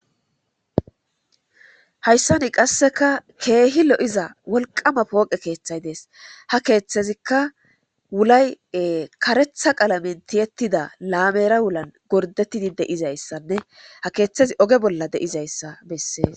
hayssani qasseka keehi lo7iza wolqama pooqe keeththay dees ha keeththezikka wulay karetha qalamentiyettida laamera wulan gordettidi deizayssanne ha keeththezi oge bolla de7izayssa bessees